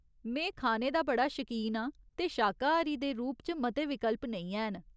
में खाने दा बड़ा शकीन आं ते शाकाहारी दे रूप च मते विकल्प नेईं हैन।